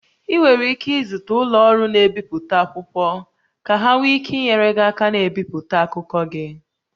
Ị nwere ike izute ụlọ ọrụ na-ebipụta akwụkwọ ka ha nwee ike inyere gị aka na-ebipụta akụkọ gị